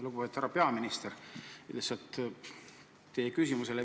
Lugupeetud härra peaminister!